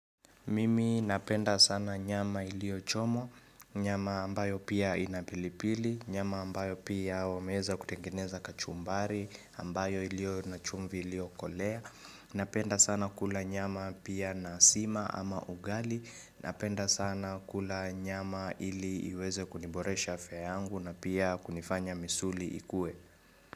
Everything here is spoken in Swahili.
Mimi napenda sana nyama iliyochomwa, nyama ambayo pia ina pilipili, nyama ambayo pia wameweza kutengeneza kachumbari, ambayo iliyona chumvi iliyokolea. Napenda sana kula nyama pia na sima ama ugali, napenda sana kula nyama ili iweze kuniboresha afya yangu na pia kunifanya misuli ikue.